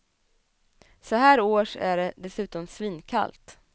Så här års är det dessutom svinkallt.